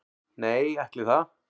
Nei, ætli það